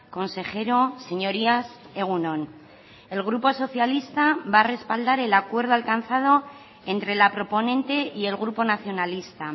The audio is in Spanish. consejero señorías egun on el grupo socialista va a respaldar el acuerdo alcanzado entre la proponente y el grupo nacionalista